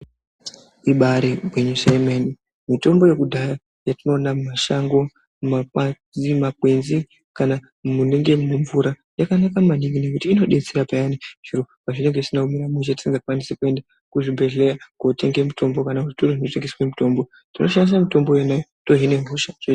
Ibari gwinyiso yemene mitombo yekudhaya yatinoona mumashango, mumakwenzi kana munonga mune mvura yakanaka maningi ngokuti inodetsera payani zviro pazvinenge zvisina kumira mushe patinenge tisingakwanisi kuende kuzvibhedhleya kotenge mitombo kana kuzvitoro zvinotengese mitombo tinoshandisa mitombo yona iyoyo tohina hosha.